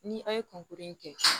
Ni aw ye kɔnkuru in kɛ